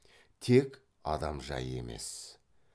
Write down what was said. тек адам жайы емес